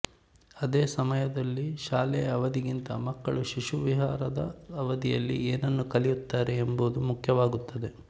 ಅದೇ ಸಮಯದಲ್ಲಿ ಶಾಲೆಯ ಅವಧಿಗಿಂತ ಮಕ್ಕಳು ಶಿಶುವಿಹಾರದ ಅವಧಿಯಲ್ಲಿ ಏನನ್ನು ಕಲಿಯುತ್ತಾರೆ ಎಂಬುದು ಮುಖ್ಯವಾಗುತ್ತದೆ